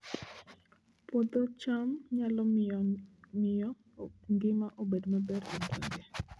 Puodho cham nyalo miyo ngima obed maber e gwenge